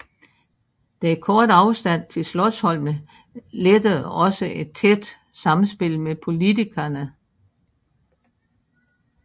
Den korte afstand til Slotsholmen lettede et tæt samspil med politikerne